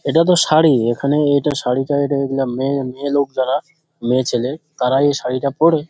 এটা তো শাড়ি । এখানে এটা শাড়ি -টা মেয়ে মেয়ে লোক যারা মেয়েছেলে তারাই এই শাড়ি -টা পড়ে।